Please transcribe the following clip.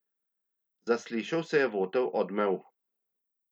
Zaslišal se je votel odmev.